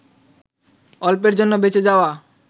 অল্পের জন্য বেঁচে যাওয়া